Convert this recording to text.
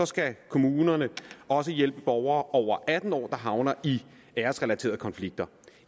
skal kommunerne også hjælpe borgere over atten år der havner i æresrelaterede konflikter